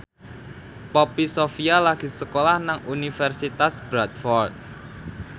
Poppy Sovia lagi sekolah nang Universitas Bradford